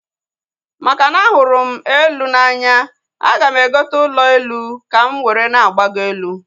Makana ahụrụ m elu n'anya, aga m egota ụlọ elu ka m were na-agbago elu